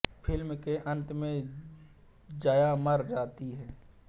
film के अंत में जया मर जाती है